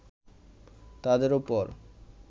তাদের উপর